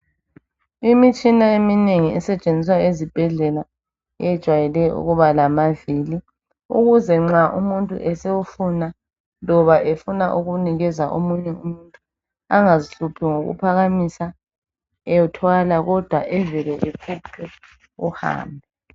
Imitshina eminengi esetshenziswa ezibhedlela yejwayeleke ukuba lamavili ukuze nxa umuntu esewufuna loba efuna ukunikeza omunye umuntu angazihluphi ngokuphakamisa ethwala kodwa evele efuqe uhambe.